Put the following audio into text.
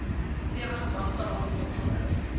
stewige bankbalans opgebou